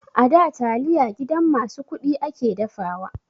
A da taliya gidan masu kuɗi ake dafawa.